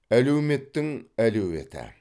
әлеуметтің әлеуеті